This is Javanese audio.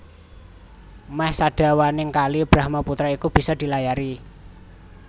Mèh sadawaning Kali Brahmaputra iku bisa dilayari